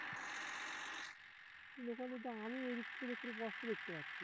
দোকানে তো আমি এই দিক থেকে দেখলে স্পষ্ট দেখতে পাচ্ছি